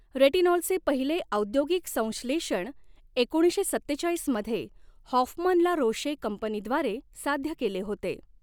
रेटिनॉलचे पहिले औद्योगिक संश्लेषण एकोणीसशे सत्तेचाळीस मध्ये हॉफमन ला रोशे कंपनीद्वारे साध्य केले होते.